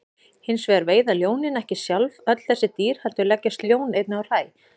Hins vegar veiða ljónin ekki sjálf öll þessi dýr heldur leggjast ljón einnig á hræ.